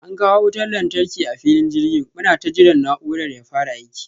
An kawo wutan lantarki a filin jirgin, munata jiran na'urar ya fara aiki.